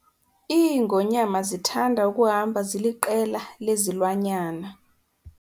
Iingonyama zithanda ukuhamba ziliqela lezilwanyana.